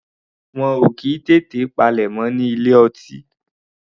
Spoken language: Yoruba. Wọn ò kì í tètè palẹ̀mọ́ ní ilé ọtí.